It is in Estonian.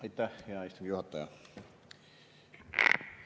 Aitäh, hea istungi juhataja!